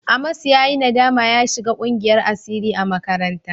Amos ya yi nadama ya shiga ƙungiyar asiri a makaranta.